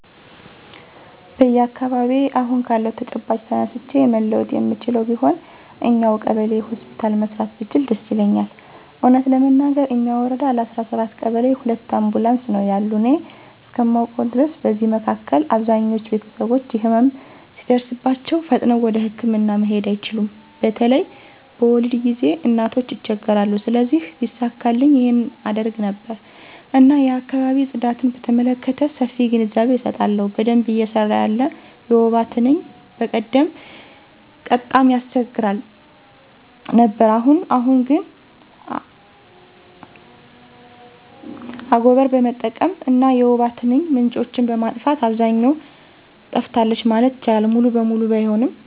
በአካባቢየ አሁን ካለው ተጨባጭ ተነስቼ መለወጥ የምችለው ቢሆን እኛው ቀበሌ ሆስፒታል መስራት ብችል ደስ ይለኛል። እውነት ለመናገር እኛ ወረዳ ለ17 ቀበሌ ሁለት አምቡላንስ ነው ያሉ እኔ እስከማውቀው ድረስ። በዚህ መካከል አብዛኞች ቤተሰቦች ህመም ሲደርስባቸው ፈጥነው ወደህክምና መሄድ አይችሉም በተለይ በወሊድ ጊዜ እናቶች ይቸገራሉ። ስለዚህ ቢሳካልኝ ይህን አደርግ ነበር። እና የአካባቢ ጽዳትን በተመለከተ ሰፊ ግንዛቤ አሰጣለሁ። በደንብ እየሰራ ያለ የወባ ትንኝ በቀደም ቀጣም ታስቸግር ነበር አሁን አሁን ግን አጎቀር በመጠቀም እና የወባ ትንኝ ምንጮችን በማጥፋት አብዛኛው ጠፍታለች ማለት ይቻላል ሙሉ በሙሉ ባይሆንም።